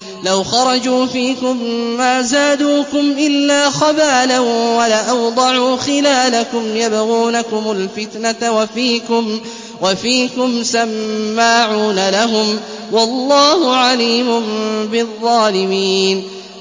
لَوْ خَرَجُوا فِيكُم مَّا زَادُوكُمْ إِلَّا خَبَالًا وَلَأَوْضَعُوا خِلَالَكُمْ يَبْغُونَكُمُ الْفِتْنَةَ وَفِيكُمْ سَمَّاعُونَ لَهُمْ ۗ وَاللَّهُ عَلِيمٌ بِالظَّالِمِينَ